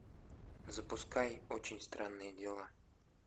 запускай очень странные дела